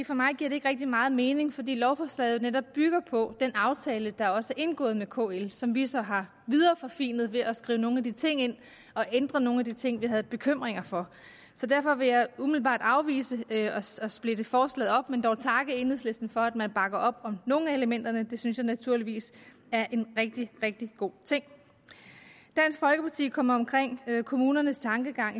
for mig giver det ikke rigtig meget mening fordi lovforslaget jo netop bygger på den aftale der også er indgået med kl som vi så har videreforfinet ved at skrive nogle af de ting ind og ændre nogle af de ting vi havde bekymringer for så derfor vil jeg umiddelbart afvise at splitte forslaget op men dog takke enhedslisten for at man bakker op om nogle af elementerne det synes jeg naturligvis er en rigtig rigtig god ting dansk folkeparti kommer omkring kommunernes tankegang